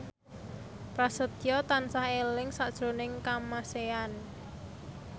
Prasetyo tansah eling sakjroning Kamasean